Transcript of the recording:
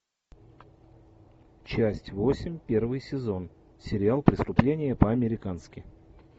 часть восемь первый сезон сериал преступление по американски